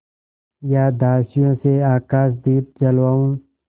या दासियों से आकाशदीप जलवाऊँ